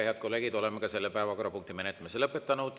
Head kolleegid, oleme selle päevakorrapunkti menetlemise lõpetanud.